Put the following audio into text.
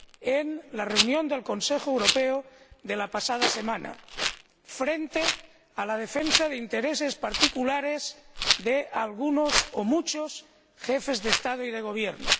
en la reunión del Consejo Europeo de la pasada semana frente a la defensa de intereses particulares de algunos o muchos Jefes de Estado y de Gobierno.